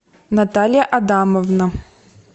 наталья адамовна